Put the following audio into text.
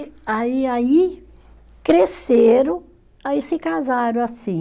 Aí aí cresceram, aí se casaram assim.